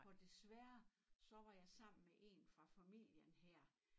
Og desværre så var jeg sammen med en fra familien her